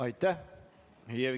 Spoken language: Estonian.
Aitäh!